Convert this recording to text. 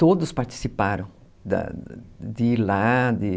Todos participaram da de ir lá, de